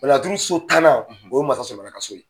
Laturu so tannan , o ye masa Solomana ka so ye .